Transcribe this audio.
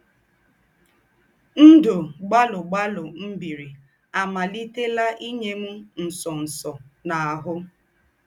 Ndụ̀ gbàlụ̀ gbàlụ̀ m̀ bìrì ámàlìtèlà ínyè m̀ ńsọ̀nsọ̀ n’áhụ̀.